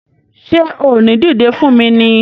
Ṣé o ò ní dìdé fún mi ni!